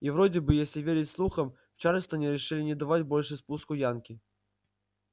и вроде бы если верить слухам в чарльстоне решили не давать больше спуску янки